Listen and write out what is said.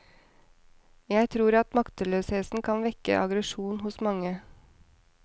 Jeg tror at maktesløsheten kan vekke aggresjon hos mange.